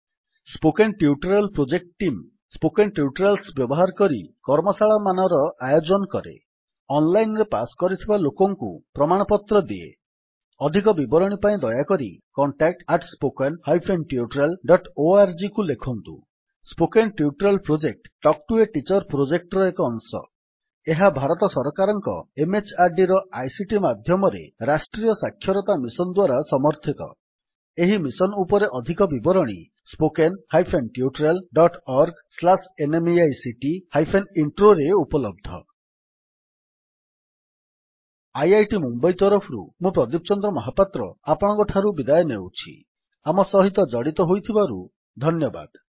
spoken tutorial project team spoken tutorials ବ୍ୟବହାର କରି କର୍ମଶାଳାମାନର ଆୟୋଜନ କରେ ଅନଲାଇନ୍ ରେ ପାସ୍ କରିଥିବା ଲୋକଙ୍କୁ ପ୍ରମାଣପତ୍ର ଦିଏ ଅଧିକ ବିବରଣୀ ପାଇଁ ଦୟାକରି contactspoken tutorialorgକୁ ଲେଖନ୍ତୁ spoken tutorial project talk to a teacher ପ୍ରୋଜେକ୍ଟର ଏକ ଅଂଶ ଏହା ଭାରତ ସରକାରଙ୍କ MHRDର ଆଇସିଟି ମାଧ୍ୟମରେ ରାଷ୍ଟ୍ରୀୟ ସାକ୍ଷରତା ମିଶନ୍ ଦ୍ୱାରା ସମର୍ଥିତ ଏହି ମିଶନ୍ ଉପରେ ଅଧିକ ବିବରଣୀ ସ୍ପୋକେନ୍ ଟ୍ୟୁଟୋରିଆଲ୍ଅର୍ଗNMEICT ଇଣ୍ଟ୍ରୋ spoken tutorialorgnmeict ଇଣ୍ଟ୍ରୋରେ ଉପଲବ୍ଧ ଆଇଆଇଟି ମୁମ୍ୱଇ ତରଫରୁ ମୁଁ ପ୍ରଦୀପ ଚନ୍ଦ୍ର ମହାପାତ୍ର ଆପଣଙ୍କଠାରୁ ବିଦାୟ ନେଉଛି ଆମ ସହିତ ଜଡ଼ିତ ହୋଇଥିବାରୁ ଧନ୍ୟବାଦ